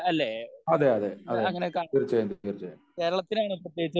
അതെയതെ തീർച്ചയായും